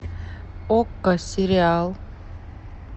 окко сериал